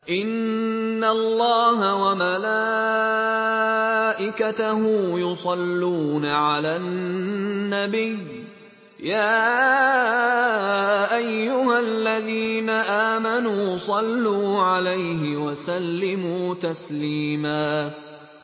إِنَّ اللَّهَ وَمَلَائِكَتَهُ يُصَلُّونَ عَلَى النَّبِيِّ ۚ يَا أَيُّهَا الَّذِينَ آمَنُوا صَلُّوا عَلَيْهِ وَسَلِّمُوا تَسْلِيمًا